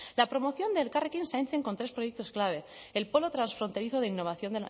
la promoción de elkarrekin zaintzen con tres proyectos clave el polo transfronterizo de innovación